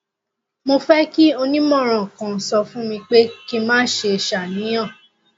mo fẹ kí onímọràn kan sọ fún mi pé kí n má ṣe ṣàníyàn